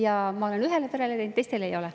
Ja ma olen ühele perele teinud, teistele ei ole.